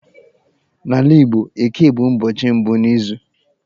N'ala Igbo, Eke bụ ụbọchị mbụ n'izu.